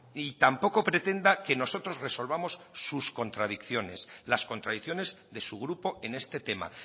y tampoco pretenda que nosotros resolvamos sus contradicciones las contradicciones de su grupo en este tema